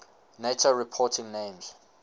nato reporting names